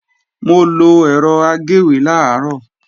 Mo lọ ẹ̀rọ agéwé làárọ̀